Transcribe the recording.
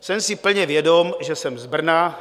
Jsem si plně vědom, že jsem z Brna.